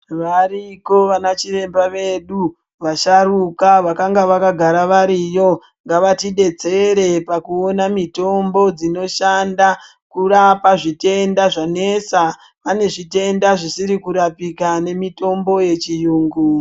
Variko vana chiremba vedu, vasharuka vakange vakagara variyo, ngavatidetsere pakuwona mitombo dzinoshanda kurapa zvitenda zvanesa, pane zvitenda zvisiri kurapika nemitombo yechiyungu.